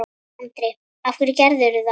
Andri: Af hverju gerirðu það?